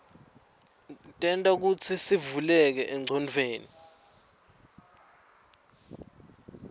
tenta kutsisivuleke engcondweni